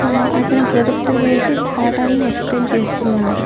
ఆ అతను ప్రొజెక్టర్ వేసి పాటాలను ఎక్స్ప్లెయిన్ చేస్తున్నారు.